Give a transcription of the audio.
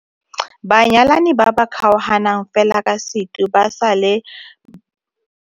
Banyalani ba ba kgaoganang fela ka seitu ba sa leba kwa kgotlatshekelo ga ba kitla ba thusiwa semolao go fedisa lenyalo la bona.